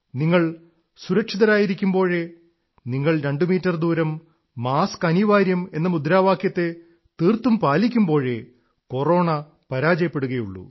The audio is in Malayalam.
നിങ്ങൾ സുരക്ഷിതരായിരിക്കുമ്പോഴേ നിങ്ങൾ രണ്ടുമീറ്റർ ദൂരം മാസ്കനിവാര്യം എന്ന മുദ്രാവാക്യത്തെ തീർത്തും പാലിക്കുമ്പോഴേ കോറോണാ പരാജയപ്പെടുകയുള്ളൂ